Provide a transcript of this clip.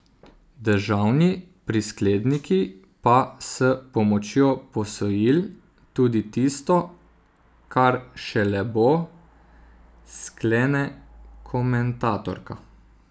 Državni priskledniki pa s pomočjo posojil tudi tisto, kar šele bo, sklene komentatorka.